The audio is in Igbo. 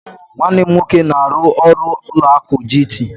Nwanne m nwoke na-aru ọrụ ụlọ akụ GT.